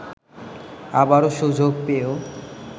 আবারো সুযোগ পেয়েও